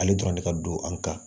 Ale dɔrɔn de ka don an kan